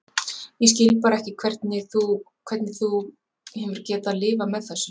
Ég skil bara ekki hvernig þú. hvernig þú hefur getað lifað með þessu.